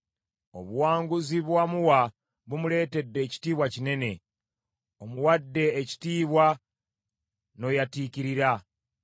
Obuwanguzi bwe wamuwa bumuleetedde ekitiibwa kinene. Omuwadde ekitiibwa n’oyatiikirira.